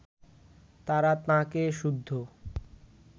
তারা তাঁকে সুদ্ধ